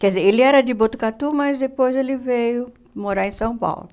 Quer dizer, ele era de Botucatu, mas depois ele veio morar em São Paulo.